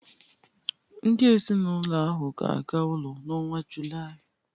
Ndị ezinaụlọ ahụ ga-aga ụlọ n'ọnwa Julaị